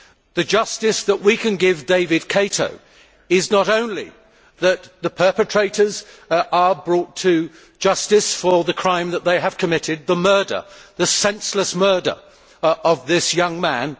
The justice that we can give David Kato is not only to ensure that the perpetrators are brought to justice for the crime that they have committed the senseless murder of this young man.